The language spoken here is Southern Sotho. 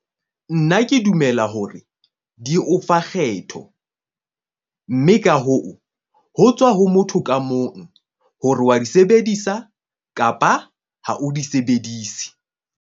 Nna ke dumela hore di o fa kgetho, mme ka hoo, ho tswa ho motho ka mong hore wa di sebedisa kapa ha o di sebedise.